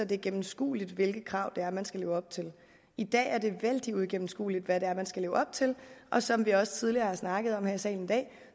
det er gennemskueligt hvilke krav det er man skal leve op til i dag er det vældig uigennemskueligt hvad det er man skal leve op til og som vi også tidligere har snakket om her i salen i dag